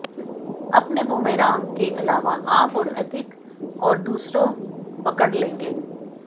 अपने बुमेरांग के अलावा आप और अधिक और दूसरों पकड़ लेंगे